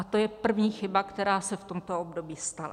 A to je první chyba, která se v tomto období stala.